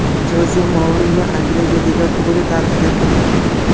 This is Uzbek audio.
Joze Mourinyo Angliya Liga Kubogi tarixiga kirdi.